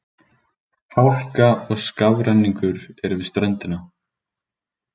Hálka og skafrenningur er við ströndina